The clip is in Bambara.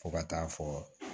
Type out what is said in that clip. Fo ka taa fɔ